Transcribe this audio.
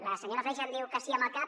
la senyora freixa em diu que sí amb el cap